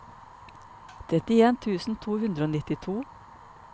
trettien tusen to hundre og nittito